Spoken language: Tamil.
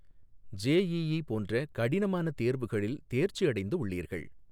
ஜேஈஈ போன்ற கடினமான தேர்வுகளில் தேர்ச்சி அடைந்து உள்ளீர்கள்.